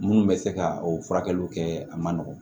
Minnu bɛ se ka o furakɛliw kɛ a man nɔgɔn